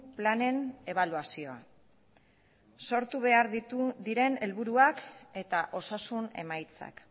planen ebaluazioa sortu behar diren helburuak eta osasun emaitzak